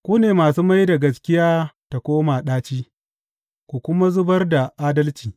Ku ne masu mai da gaskiya ta koma ɗaci ku kuma zubar da adalci.